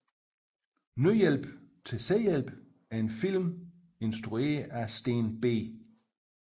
Nødhjælp til selvhjælp er en film instrueret af Steen B